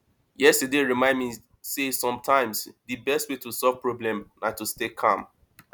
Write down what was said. yesterday remind me say sometimes di best way to solve problem na to stay calm